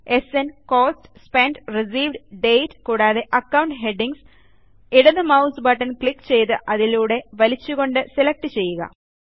സ്ന് cost spent received date കൂടാതെ account headings ഇടത് mouse button click ചെയ്തു അതിലൂടെ വലിച്ചു കൊണ്ട് സെലെക്ട് ചെയ്യുക